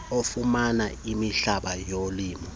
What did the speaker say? okufumana imihlaba yolimo